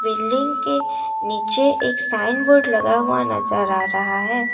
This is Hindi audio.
बिल्डिंग के नीचे एक साइन बोर्ड लगा हुआ नजर आ रहा है।